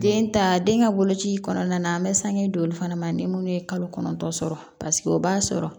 Den ta den ka boloci kɔnɔna na an bɛ sange don olu fana ma ni minnu ye kalo kɔnɔntɔn sɔrɔ paseke o b'a sɔrɔ